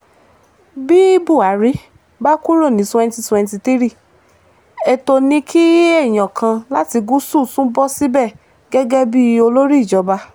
bí buhari bá kúrò ní twenty twenty three ètò ni kí èèyàn kan láti gúúsù tún bọ́ síbẹ̀ gẹ́gẹ́ bíi olórí ìjọba